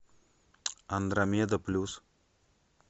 андромеда плюс